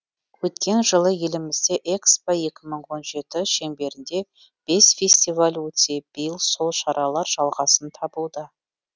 өткен жылы елімізде экспо екі мың он жеті шеңберінде бес фестиваль өтсе биыл сол шаралар жалғасын табуда